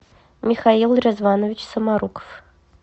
михаил резванович саморуков